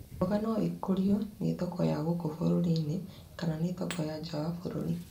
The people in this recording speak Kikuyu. Mboga no ikũrio nĩ thoko ya gũkũ bũrũri -inĩ kana nĩ thoko ya nja wa bũrũri.